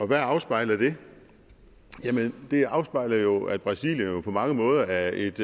hvad afspejler det jamen det afspejler jo at brasilien på mange måder er et